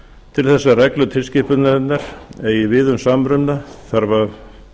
til þess að reglur tilskipunarinnar eigi við um samruna þarf að